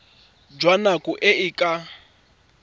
jwa nako e e ka